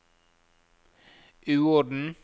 uorden